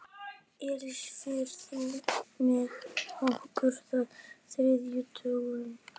Elsí, ferð þú með okkur á þriðjudaginn?